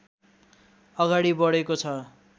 अगाडि बढेको छ